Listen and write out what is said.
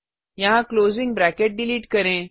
यहाँ closing bracket delete करें